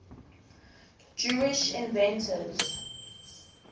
jewish inventors